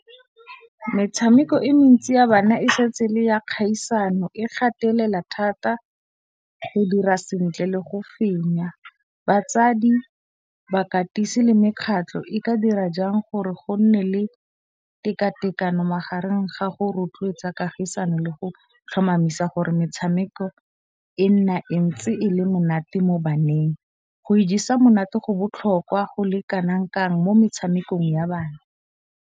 Metshameko e mentsi ya bana e setse e le ya kgaisano, e gatelela thata go dira sentle le go fenya. Batsadi, bakatisi le mekgatlo e ka dira jang gore go nne le tekatekano magareng ga go rotloetsa kagisano le go tlhomamisa gore metshameko e nna e ntse e le monate mo baneng. Go ijesa monate go botlhokwa go le kanang kang mo metshamekong ya bana.